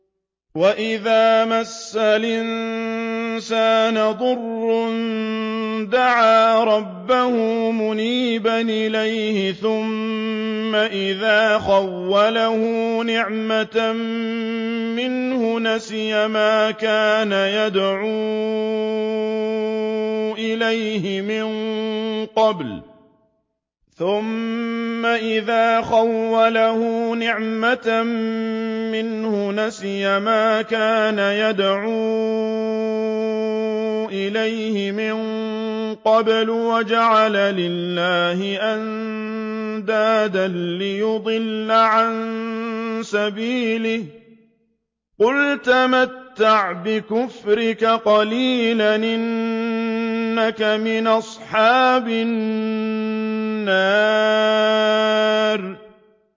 ۞ وَإِذَا مَسَّ الْإِنسَانَ ضُرٌّ دَعَا رَبَّهُ مُنِيبًا إِلَيْهِ ثُمَّ إِذَا خَوَّلَهُ نِعْمَةً مِّنْهُ نَسِيَ مَا كَانَ يَدْعُو إِلَيْهِ مِن قَبْلُ وَجَعَلَ لِلَّهِ أَندَادًا لِّيُضِلَّ عَن سَبِيلِهِ ۚ قُلْ تَمَتَّعْ بِكُفْرِكَ قَلِيلًا ۖ إِنَّكَ مِنْ أَصْحَابِ النَّارِ